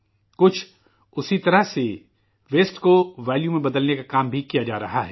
کچھ اسی طرح فضلہ کو قیمت میں بدلنے کا بھی کام کیا جا رہا ہے